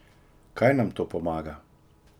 Kaj nam to pomaga?